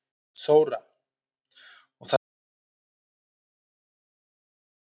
Þóra: Og það hefur engin áhrif á þessa nýju áfangastaði?